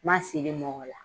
N ma siri mɔgɔ la